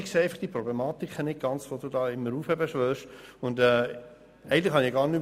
Ich sehe die Problematiken, die du immer heraufbeschwörst, einfach nicht ganz.